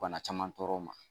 Bana caman tɔɔrɔ ma.